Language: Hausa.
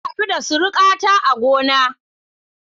Na hadu da surukata a gona.